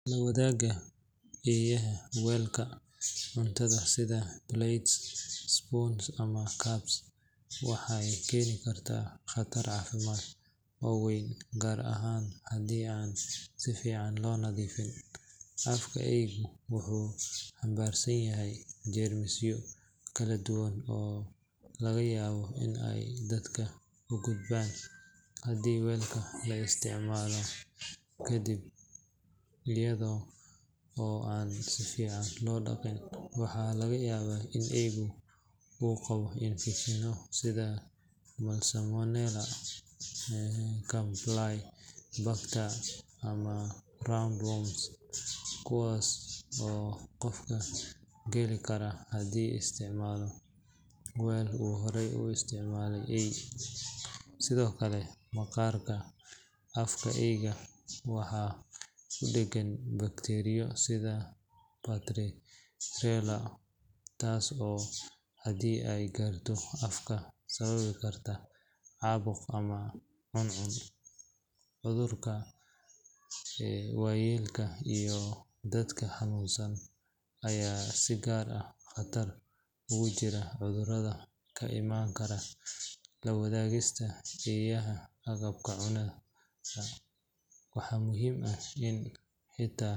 La wadaagista eeyaha weelka cuntada sida plates, spoons ama cups waxay keeni kartaa khatar caafimaad oo weyn gaar ahaan haddii aan si fiican loo nadiifin. Afka eeygu wuxuu xambaarsan yahay jeermisyo kala duwan oo laga yaabo in ay dadka u gudbaan haddii weelka la isticmaalo kaddib iyada oo aan si fiican loo dhaqin. Waxaa laga yaabaa in eeygu uu qabo infekshanno sida salmonella, campylobacter ama roundworms kuwaas oo qofka gali kara hadduu isticmaalo weel uu horey u isticmaale eey. Sidoo kale, maqaarka afka eeyga waxa ku dheggan bakteeriyo sida pasteurella taas oo haddii ay gaarto qofka sababi karta caabuq ama cuncun. Carruurta, waayeelka iyo dadka xanuunsan ayaa si gaar ah khatar ugu jira cudurrada ka imaan kara la wadaagista eeyaha agabka cunnada. Waxaa muhiim ah in xitaa.